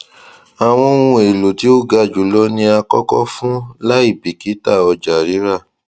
àwọn oun elo tí o ga julọ ni a kọkọ fún laibikita ọjọ rira